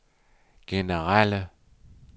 generelle